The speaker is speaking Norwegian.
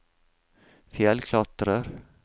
fjellklatrer